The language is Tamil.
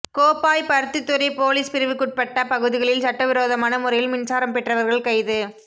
கோப்பாய் பருத்தித்துறை பொலிஸ் பிரிவுக்குட்பட்ட பகுதிகளில் சட்டவிரோதமான முறையில் மின்சாரம் பெற்றவர்கள் கைது